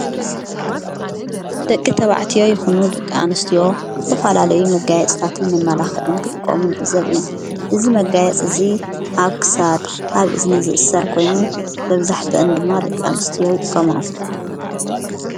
ደቂ ተባዕትዮ ይኹኑ ደቂ ኣንስትዮ ዝተፋላለዩ መጋየጽታትን መማላኽዕን ክጥቆሙ ንዕእዘብ ኢና። እዚ መጋየጽ እዙይ ኣብ ክሳድ ኣብ እዝኒ ዝእሠር ኮይኑ መብዛሕትአን ድማ ደቂ ኣንስቲዎ ይጥቆሞአ።